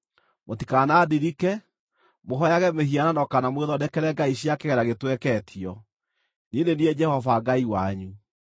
“ ‘Mũtikanandirike, mũhooyage mĩhianano kana mwĩthondekere ngai cia kĩgera gĩtweketio. Niĩ nĩ niĩ Jehova Ngai wanyu.